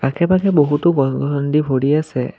আশে-পাশে বহুতো গ-গৰণ্ডি ভৰি আছে।